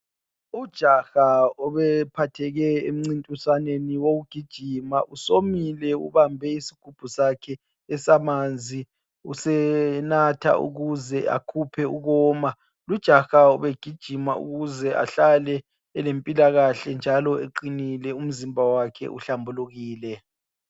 Ujaha obephatheke emncintiswaneni wokugijima, usomile ubambe isigubhu sakhe esamanzi usenatha ukuze akhuphe ukoma, lujaha ubegijima ukuze ahlale elempilakahle njalo eqinile umzimba wakhe uhlambulukile.